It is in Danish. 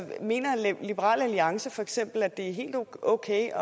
mener liberal alliance feks at det er helt okay